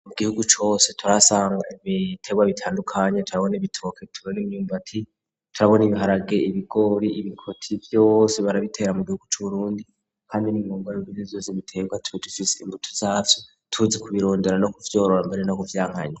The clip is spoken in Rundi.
Mu gihugu cose turahasanga ibiterwa bitandukanye turabona ibitoke turabona imyumbati, turabona ibiharage ibigori ibikoti vyose barabitera mu gihugu c'Uburundi, hamwe n'imbumbamubiri vyose biterwa tuba dufise imbuto zavyo, tuzi ku birondera no kuvyorora mbere no kuvyankanya.